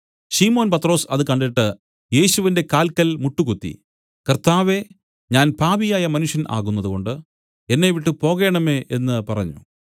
ശിമോൻ പത്രൊസ് അത് കണ്ടിട്ട് യേശുവിന്റെ കാല്ക്കൽ മുട്ടുകുത്തി കർത്താവേ ഞാൻ പാപിയായ മനുഷ്യൻ ആകുന്നതുകൊണ്ട് എന്നെ വിട്ടുപോകേണമേ എന്നു പറഞ്ഞു